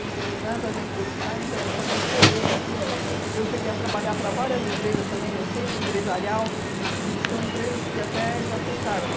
E nas agências de publicidade então eu fazia folhetos, eu cheguei a trabalhar para várias empresas também no centro empresarial, que são empresas que até já fecharam